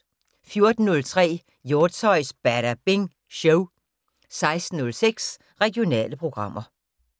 14:03: Hjortshøjs Badabing Show 16:06: Regionale programmer